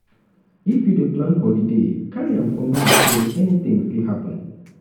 if you dey plan holiday carry am for mind sey anything fit happen